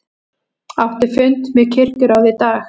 Átti fund með kirkjuráði í dag